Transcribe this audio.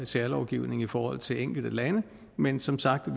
særlovgivning i forhold til enkelte lande men som sagt